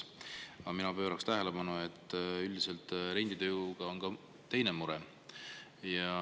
Aga mina pööraksin tähelepanu sellele, et üldiselt renditööjõuga on ka teine mure.